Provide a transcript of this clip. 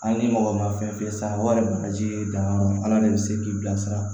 An ni mɔgɔ ma fɛn fi sara walima bagaji dan yɔrɔ ala de bɛ se k'i bilasira